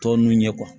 Tɔ ninnu ye